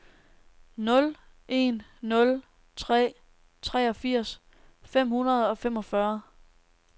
nul en nul tre treogfirs fem hundrede og femogfyrre